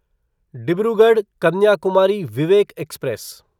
Dibrugarh Kanyakumari Vivek express